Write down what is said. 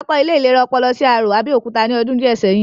A kọ́ ilé ìlera ọpọlọ sí Arò, Abẹ́òkúta ní ọdún díẹ̀ sẹ́yìn